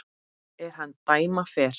er hann dæma fer